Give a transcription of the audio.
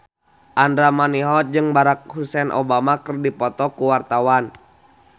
Andra Manihot jeung Barack Hussein Obama keur dipoto ku wartawan